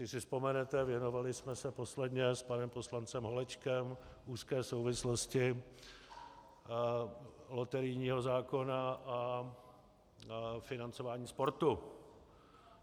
Jestli si vzpomenete, věnovali jsme se posledně s panem poslancem Holečkem úzké souvislosti loterijního zákona a financování sportu.